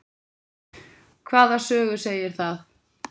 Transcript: Hvaða sögu segir það?